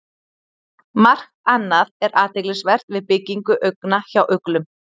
Margt annað er athyglisvert við byggingu augna hjá uglum.